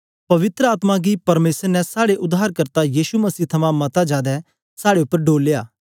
पवित्र आत्मा गी परमेसर ने साड़े उद्धारकर्ता यीशु मसीह थमां मता जादै साड़े उपर डोलया